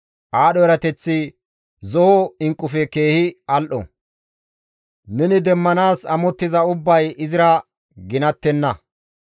Aadho erateththi zo7o inqqufe keehi al7o; neni demmanaas amottiza ubbay izira ginattenna.